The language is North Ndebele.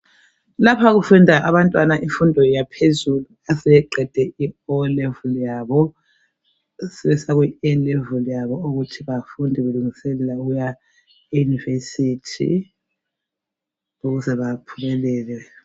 Lapha kufunda abantwana imfundo yaphezulu asebeqede i O'level yabo sebesiya ku A' level yabo ukuthi bafunde belungiselela ukuya e yunivesithi ukuze baphumelele.